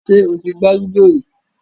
Ṣè ó ti gbà lúdọ̀ rí?